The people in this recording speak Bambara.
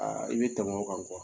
Aa i bɛ tɛmɛ o kan